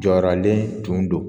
Jɔyɔrɔlen tun don